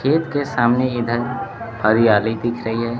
खेत के सामने इधर हरियाली दिख रही है।